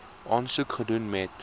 aansoek gedoen het